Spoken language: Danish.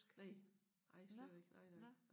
Næ nej slet ikke nej nej